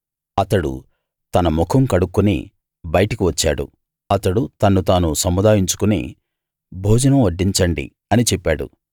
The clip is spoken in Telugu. అతడు తన ముఖం కడుక్కుని బయటికి వచ్చాడు అతడు తన్ను తాను సముదాయించుకుని భోజనం వడ్డించండి అని చెప్పాడు